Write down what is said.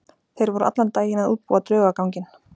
Þeir voru allan daginn að útbúa draugaganginn.